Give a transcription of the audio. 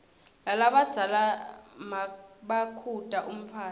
lalabadzala nmabakhuta umntfwana